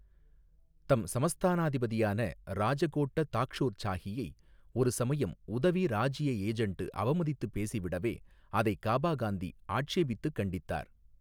தம் சமஸ்தானாதிபதியான ராஜகோட்ட தாக்ஷுர் சாஹியை ஒரு சமயம் உதவி ராஜிய ஏஜெண்டு அவமதித்துப் பேசிவிடவே அதை கபா காந்தி ஆட்சேபித்து கண்டித்தார்.